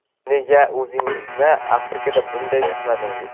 Nega o‘zingizni Afrikada bunday tutmadingiz?!